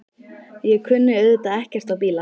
Ég kunni auðvitað ekkert á bíla.